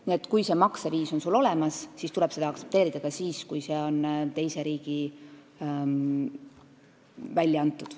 Nii et kui see maksevahend on sul olemas, siis tuleb seda aktsepteerida ka siis, kui see on teises riigis välja antud.